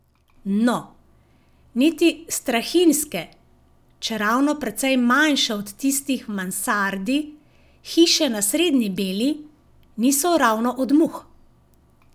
No, niti strahinjske, čeravno precej manjše od tistih v mansardi hiše na Srednji Beli, niso ravno od muh.